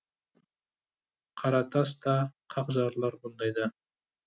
қара тас та қақ жарылар бұндайда